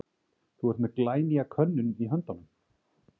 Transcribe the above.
Þú ert með glænýja könnun í höndunum?